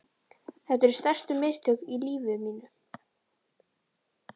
Þetta eru stærstu mistök í lífi mínu.